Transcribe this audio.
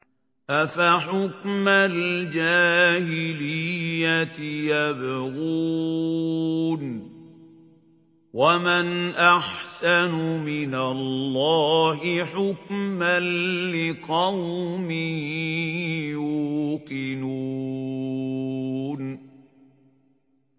أَفَحُكْمَ الْجَاهِلِيَّةِ يَبْغُونَ ۚ وَمَنْ أَحْسَنُ مِنَ اللَّهِ حُكْمًا لِّقَوْمٍ يُوقِنُونَ